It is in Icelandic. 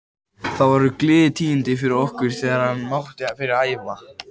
Það voru gleðitíðindi fyrir okkur þegar hann mátti byrja að æfa.